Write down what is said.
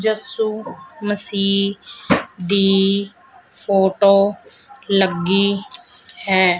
ਯਸ਼ੂ ਮਸੀਹ ਦੀ ਫੋਟੋ ਲੱਗੀ ਹੈ।